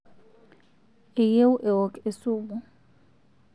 eyieu eok esumu